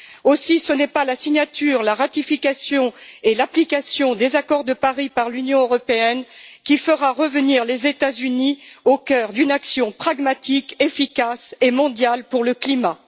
Aussi, ce n'est pas la signature, la ratification et l'application des accords de Paris par l'Union européenne qui feront revenir les États Unis au cœur d'une action pragmatique, efficace et mondiale pour le climat.